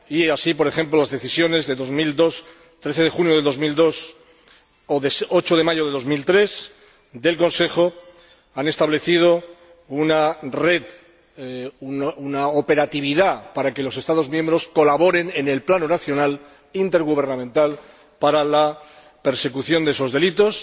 Así, por ejemplo, las decisiones de 13 de junio de 2002 o de 8 de mayo de 2003 del Consejo establecieron una operatividad para que los Estados miembros colaborasen en el plano nacional intergubernamental para la persecución de esos delitos,